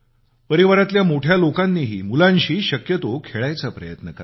परिवारातल्या मोठ्या लोकांनीही मुलांशी शक्यतो खेळायचा प्रयत्न करावा